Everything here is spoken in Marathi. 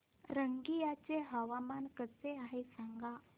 रंगिया चे हवामान कसे आहे सांगा